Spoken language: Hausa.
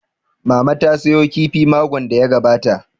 Mama ta sayo kifi makon da ya gabata